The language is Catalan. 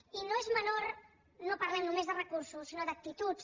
i no és menor no parlem només de recursos sinó d’actituds